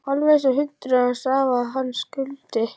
Alveg einsog hundurinn hans afa, hann Skundi.